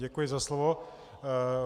Děkuji za slovo.